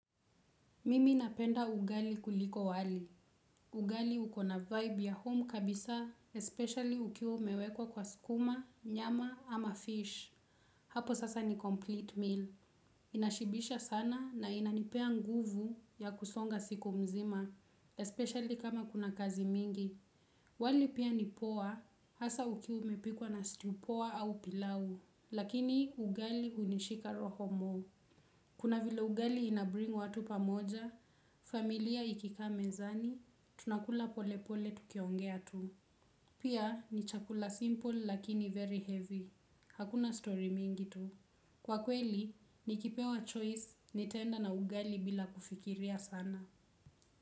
Mimi napenda ugali kuliko wali. Ugali ukona vibe ya home kabisa, especially ukiu umewekwa kwa skuma, nyama ama fish. Hapo sasa ni complete meal. Inashibisha sana na inanipea nguvu ya kusonga siku mzima, especially kama kuna kazi mingi. Wali pia ni poa, hasa ukiu umepikwa na stew poa au pilau. Lakini ugali unishika roho mo. Kuna vile ugali inabring watu pamoja, familia ikikaa mezani, tunakula polepole tukiongea tu. Pia ni chakula simple lakini very heavy. Hakuna story mingi tu. Kwa kweli, ni kipewa choice nitaenda na ugali bila kufikiria sana.